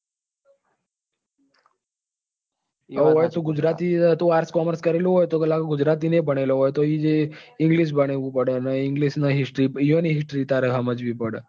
અહી તું ગુજરાતી તું arts commerce કરેલું હોય તો તે ગુજરાતી ને ભણેલું હોય અને ત્યાં જઈ ને english ભણવું પડે ને english ની history એમની history તારે સમજવી પડે.